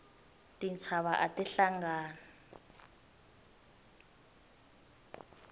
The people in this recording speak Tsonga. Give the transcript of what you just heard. tintshava ati hlangani